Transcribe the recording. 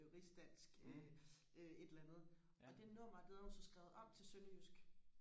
øh rigsdansk øh øh et eller andet og det nummer det havde hun så skrevet om til sønderjysk